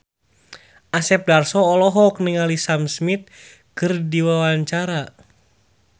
Asep Darso olohok ningali Sam Smith keur diwawancara